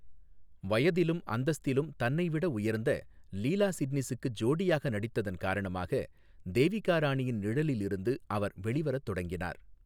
வயதிலும் அந்தஸ்திலும் தன்னைவிட உயர்ந்த லீலா சிட்னிஸுக்கு ஜோடியாக நடித்ததன் காரணமாக தேவிகா ராணியின் நிழலில் இருந்து அவர் வெளிவரத் தொடங்கினார்.